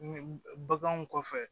Baganw kɔfɛ